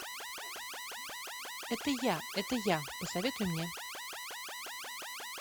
это я это я посоветуй мне